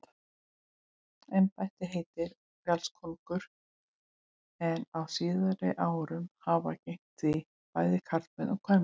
Embættið heitir fjallkóngur en á síðari árum hafa gegnt því bæði karlmenn og kvenmenn.